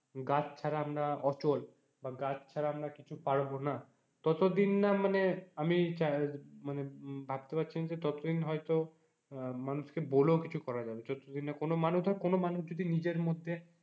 গাছ ছাড়া আমরা অচল বা গাছ ছাড়া আমরা কিছু পারবো না ততদিন না মানে আমি মানে ভাবতে পারছিনা যে ততদিন হয়তো মানুষকে বলেও কিছু করা যাবে, যত দিন না কোন মানুষ ধর কোন মানুষ যদি নিজের মধ্যে,